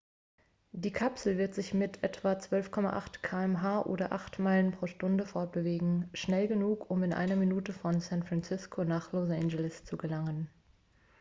die kapsel wird sich mit etwa 12,8 km oder 8 meilen pro sekunde fortbewegen schnell genug um in einer minute von san francisco nach los angeles zu gelangen